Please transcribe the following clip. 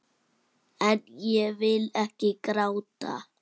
En ég vil ekki gráta.